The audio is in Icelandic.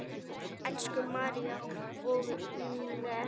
Elsku María og Inger.